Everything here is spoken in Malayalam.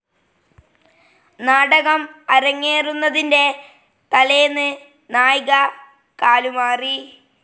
നാടകം അരങ്ങേറുന്നതിന്റെ തലേന്ന്‌ നായിക കാലുമാറി.